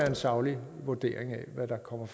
en saglig vurdering af hvad der kommer